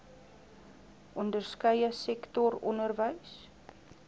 onderskeie sektor onderwys